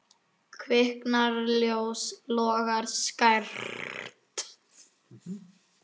Kviknar ljós, logar skært.